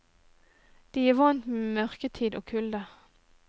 De er vant med mørketid og kulde.